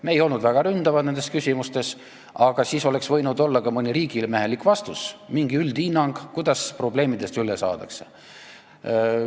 Me ei olnud nende küsimustega väga ründavad, aga oleks võinud olla ka mõni riigimehelik vastus, mingi üldhinnang, kuidas probleemidest üle saadakse.